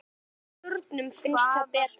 Mínum börnum finnst það betra.